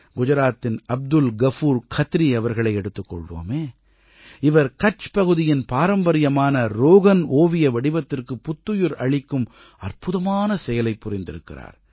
குஜராத்தின் அப்துல் கஃபூர் கத்ரி அவர்களை எடுத்துக் கொள்வோமே இவர் கட்ச் பகுதியின் பாரம்பரியமான ரோகன் ஓவிய வடிவத்திற்கு புத்துயிர் அளிக்கும் அற்புதமான செயலைப் புரிந்திருக்கிறார்